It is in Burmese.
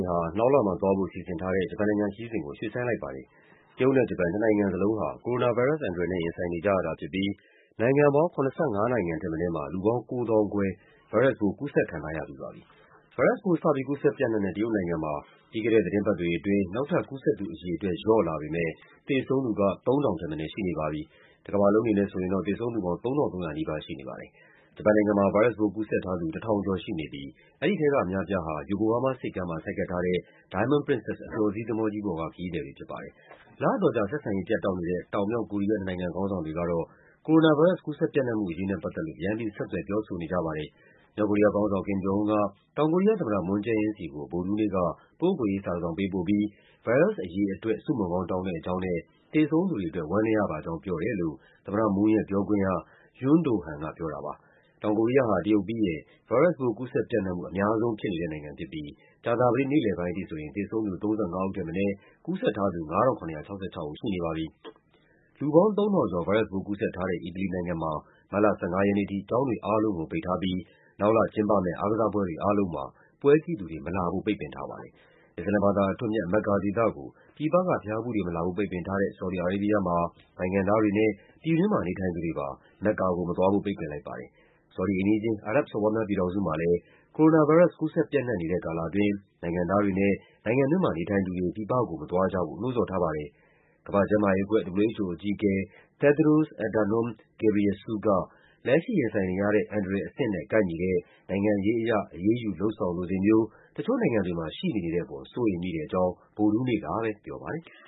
င်ဟာ နောက်လမှာသွားဖို့ စီစဉ်ထားတဲ့ ဂျပန်နိုင်ငံခရီးစဉ်ကို ရွှေ့ဆိုင်းလိုက်ပါတယ်။ တရုတ်နဲ့ ဂျပန် နှစ်နိုင်ငံစလုံးဟာ ကိုရိုနာဗိုင်းရပ်စ်အန္တရာယ်နဲ့ ရင်ဆိုင်နေကြရတာဖြစ်ပြီး နိုင်ငံပေါင်း ၇၅ နိုင်ငံထက်မနည်းမှာ လူပေါင်း ၉၀,၀၀၀ခွဲ ဗိုင်းရပ်စ်ပိုး ကူးစက်ခံထားရပြီးပါပြီ။ ဗိုင်းရပ်စ်ပိုး စပြီး ကူးစက်ပျံ့နှံ့တဲ့ တရုတ်နိုင်ငံမှာ ပြီးခဲ့တဲ့သီတင်းပတ်တွေအတွင်း နောက်ထပ်ကူးစက်သူ အရေအတွက် လျော့လာပေမဲ့ သေဆုံးသူက ၃,၀၀၀ ထက်မနည်းရှိနေပါပြီ။ တကမ္ဘာလုံးအနေနဲ့ဆိုရင်တော့ သေဆုံးသူပေါင်း ၃,၃၀၀ နီးပါးရှိနေပါတယ်။ ဂျပန်နိုင်ငံမှာ ဗိုင်းရပ်စ်ပိုးကူးစက်ထားသူ ၁,၀၀၀ ကျော်ရှိနေပြီး အဲဒီထဲကအများအပြားဟာ ယိုကိုဟားမားဆိပ်ကမ်းမှာ ဆိုက်ကပ်ထားတဲ့ Diamond Princess အပျော်စီးသင်္ဘောကြီးပေါ်က ခရီးသည်တွေဖြစ်ပါတယ်။ လအတော်ကြာ ဆက်ဆံရေးပြတ်တောက်နေတဲ့ တောင်၊ မြောက် ကိုရီးယား နှစ်နိုင်ငံခေါင်းဆောင်တွေကတော့ ကိုရိုနာဗိုင်းရပ်စ် ကူးစက်ပျံ့နံှ့မှုအရေးနဲ့ ပတ်သက်လို့ ပြန်ပြီး ဆက်သွယ် ပြောဆိုနေကြပါတယ်။ မြောက်ကိုရီးယားခေါင်းဆောင် Kim Jong Un က တောင်ကိုရီးယားသမ္မတ Moon Jae-in ဆီကို ဗုဒ္ဓဟူးနေ့က ပုဂ္ဂိုလ်ရေး စာတစောင်ပေးပို့ပြီး ဗိုင်းရပ်စ်အရေးအတွက် ဆုမွန်ကောင်းတောင်းတဲ့အကြောင်းနဲ့ သေဆုံးသူတွေအတွက် ဝမ်းနည်းရပါကြောင်း ပြောတယ်လို့ သမ္မတ Moon ရဲ့ပြောခွင့်ရ Yoon Do-han က ပြောတာပါ။ လူပေါင်း ၃,၀၀၀ ကျော် ဗိုင်းရပ်စ်ပိုးကူးစက်ထားတဲ့ အီတလီနိုင်ငံမှာ မတ်လ ၁၅ ရက်နေ့အထိ ကျောင်းတွေအားလုံးကို ပိတ်ထားပြီး နောက်လကျင်းပမယ့် အားကစားပွဲတွေအားလုံးမှာ ပွဲကြည့်သူတွေမလာဖို့ ပိတ်ပင်ထားပါတယ်။ အစ္စလာမ်ဘာသာအထွဋ်အမြတ် မက်ကာဒေသကို ပြည်ပက ဘုရားဖူးတွေ မလာဖို့ ပိတ်ပင်ထားတဲ့ ဆော်ဒီ အာရေးဘီးယားမှာ နိုင်ငံသားတွေနဲ့ ပြည်တွင်းမှာနေထိုင်သူတွေပါ မက္ကာကိုမသွားဖို့ ပိတ်ပင်လိုက်ပါတယ်။ ဆော်ဒီအိမ်နီးချင်း အာရပ်ဘ်စော်ဘွားများ ပြည်ထောင်စုမှာလည်း ကိုရိုနာဗိုင်းရပ်စ် ကူးစက်ပျံ့နှံ့နေတဲ့ကာလအတွင်း နိုင်ငံသားတွေနဲ့ နိုင်ငံတွင်းမှာနေထိုင်သူတွေ ပြည်ပကို မသွားကြဖို့ နှိုးဆော်ထားပါတယ်။ ကမ္ဘာ့ကျန်းမာရေးအဖွဲ့ WHO အကြီးအကဲ Tedros Adhanom Ghebreysus က လက်ရှိရင်ဆိုင်နေရတဲ့ အန္တရာယ်အဆင့်နဲ့ ကိုက်ညီတဲ့ နိုင်ငံရေးအရ အရေးယူ လုပ်ဆောင်လိုစိတ်မျိုး တချို့နိုင်ငံတွေမှာ ရှိမနေတဲ့အပေါ် စိုးရိမ်မိတဲ့အကြောင်း ဗုဒ္ဓဟူးနေ့က ပြောပါတယ်။